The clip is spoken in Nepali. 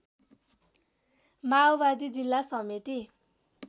माओवादी जिल्ला समिति